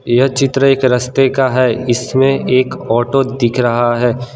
यह चित्र एक रस्ते का है इसमें एक ऑटो दिख रहा है।